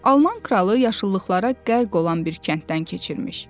Alman kralı yaşıllıqlara qərq olan bir kənddən keçirmiş.